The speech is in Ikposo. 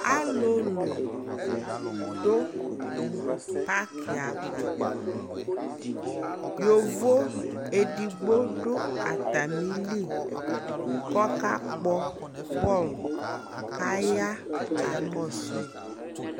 Alulu du paki ya avaYovo ɛdigbo du atami li kɔ ka kpɔ bɔɔlu Kaya ka kɔ su yi